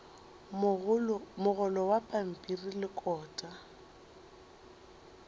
mogolo wa pampiri le kota